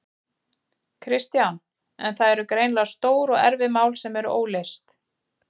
Kristján: En það eru greinilega stór og erfið mál sem eru óleyst?